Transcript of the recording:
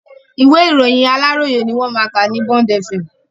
Ìwé ìròyìn Aláròyé ni wọ́n máa ka ní Bond Fm.